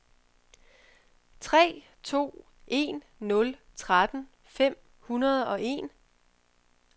tre to en nul tretten fem hundrede og en